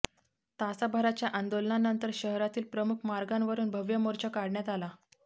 तासाभराच्या आंदोलनानंतर शहरातील प्रमुख मार्गांवरून भव्य मोर्चा काढण्यात आला